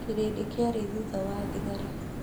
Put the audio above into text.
kĩrĩndĩ kĩarĩ thutha wa thigari.